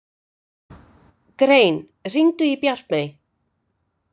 Grein, hringdu í Bjartmey.